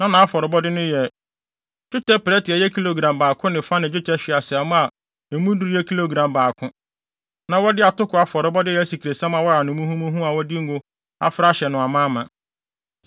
Na nʼafɔrebɔde no yɛ: dwetɛ prɛte a ɛyɛ kilogram baako ne fa ne dwetɛ hweaseammɔ a emu duru yɛ kilogram baako. Na wɔde atoko afɔrebɔde a ɛyɛ asikresiam a wɔayam no muhumuhu a wɔde ngo afra ahyɛ no amaama;